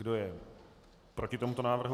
Kdo je proti tomuto návrhu?